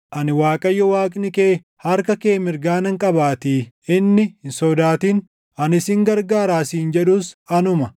Ani Waaqayyo Waaqni kee harka kee mirgaa nan qabaatii; inni, ‘Hin sodaatin; ani sin gargaaraa’ siin jedhus anuma.